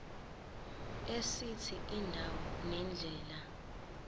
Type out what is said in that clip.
esithi indawo nendlela